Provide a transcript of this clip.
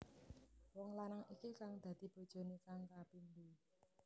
Wong lanang iki kang dadi bojoné kang kapindho